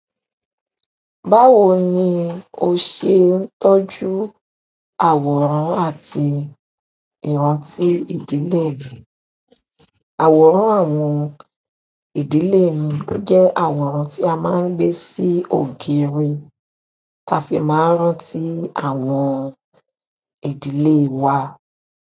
Báwo ni o ṣe ń tọ́jú àwòrán àti ìrántí ìdílé rẹ? Àwòrán àwọn ìdílé mi o jẹ́ àwòrán tí a máa ń gbé sí ògiri, tá fi máa ń rántí àwọn ìdílé wa.